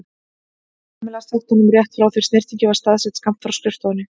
Kamilla sagt honum rétt frá því snyrtingin var staðsett skammt frá skrifstofunni.